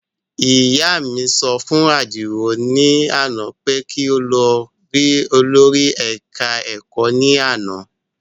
Ìyá mi sọ fún Àdìó ní àná pé kí ó lọ rí olórí ẹ̀ka ẹ̀kọ́ ní àná